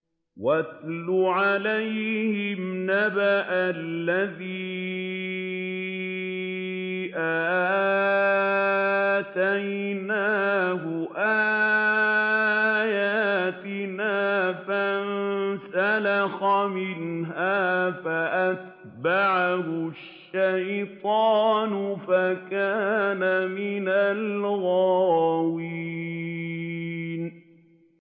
وَاتْلُ عَلَيْهِمْ نَبَأَ الَّذِي آتَيْنَاهُ آيَاتِنَا فَانسَلَخَ مِنْهَا فَأَتْبَعَهُ الشَّيْطَانُ فَكَانَ مِنَ الْغَاوِينَ